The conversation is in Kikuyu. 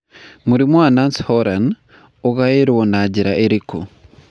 Mũrimũ wa Nance Horan ũgaĩrũo na njĩra ĩrĩkũ?